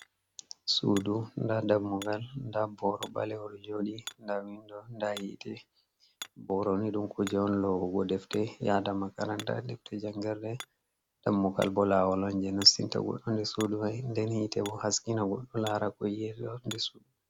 Sudu, nda dammugal, nda boro balewol joɗi, nda windo nda yite, boroni ɗum kuje on lowugo defte yada makara, nda defte jangerɗe, dammugal bo lawol on je nastinta gudo nder sudu, fa hain den hite bo haskina goddo lara ko yi Ata ha nder sudu.